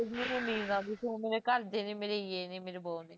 ਮੈਨੂੰ ਨੀਂਦ ਆ ਗਈ ਫੇਰ ਮੇਰੇ ਘਰ ਦੇ ਮੇਰੇ ਇਹ ਨੇ ਮੇਰੇ ਵੋਹ ਨੇ